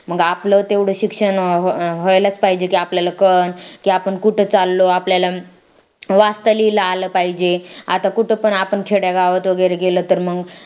मग आपलं तेवढं शिक्षण व्हायलाच पाहिजे की आपल्याला की कळण आपण कुठे चाललो आपल्याला वाचता लिहायला आलं पाहिजे आता आपण कुठं तर खेडेगावामध्ये वगैरे गेलं तर मग